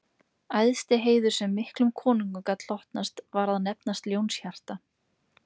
Æðsti heiður sem miklum konungum gat hlotnast var að nefnast ljónshjarta